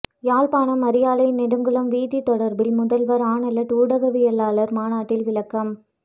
யாழ்ப்பாணம் அரியாலை நெடுங்குளம் வீதி தொடர்பில் முதல்வர் ஆனல்ட் ஊடகவியலாளர் மாநாட்டில் விளக்கம்